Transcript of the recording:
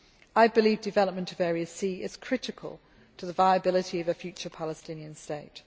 I believe development of Area C is critical to the viability of a future Palestinian